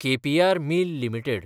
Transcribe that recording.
K P R mill limited